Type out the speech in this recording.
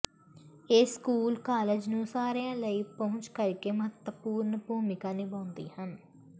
ਇਹ school college ਨੂੰ ਸਾਰਿਆਂ ਲਈ ਪਹੁੰਚ ਕਰਕੇ ਮਹੱਤਵਪੂਰਣ ਭੂਮਿਕਾ ਨਿਭਾਉਂਦੇ ਹਨ